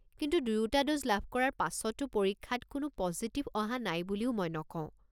কিন্তু দুয়োটা ড'জ লাভ কৰাৰ পাছতো পৰীক্ষাত কোনো পজিটিভ অহা নাই বুলিও মই নকওঁ।